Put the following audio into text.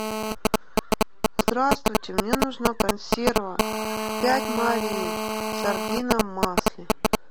здравствуйте мне нужна консерва пять морей сардина в масле